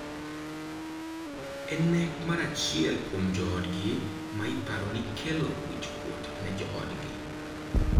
En nek mar achiel kuom joodgi ma iparo ni kelo wichkuot ne joodgi.